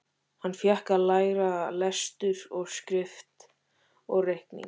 Hann fékk að læra lestur og skrift og reikning.